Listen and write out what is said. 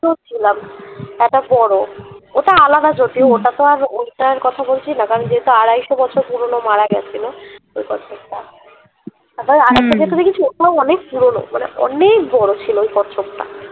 ছিলাম তারপর বড় ওটা আলাদা ওটা তো আর ওইটার কথা বলছি না যেহুতু আড়াইশো বছর পুরনো মারা গেছিল ওই কচ্ছপ টা চোখগুলো অনেক পুরনো মানে অনেক বড় ছিল ওই কচ্ছপটা